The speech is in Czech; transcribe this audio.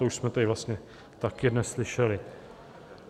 To už jsme tady vlastně také dnes slyšeli.